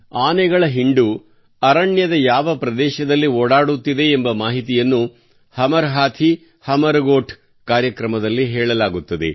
ಆನೆಗಳ ಹಿಂಡು ಅರಣ್ಯದ ಯಾವ ಪ್ರದೇಶದಲ್ಲಿ ಓಡಾಡುತ್ತಿದೆ ಎಂಬ ಮಾಹಿತಿಯನ್ನು ಹಮರ್ ಹಾಥೀ ಹಮರ್ ಗೋಠ್ ಕಾರ್ಯಕ್ರಮದಲ್ಲಿ ಹೇಳಲಾಗುತ್ತದೆ